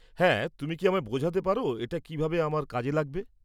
হ্যাঁ, তুমি কি আমায় বোঝাতে পার এটা কিভাবে আমার কাজে লাগবে?